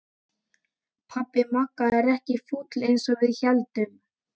Pabbi Magga er ekkert fúll eins og við héldum!